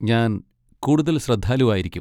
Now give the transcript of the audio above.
ഞാൻ കൂടുതൽ ശ്രദ്ധാലുവായിരിക്കും.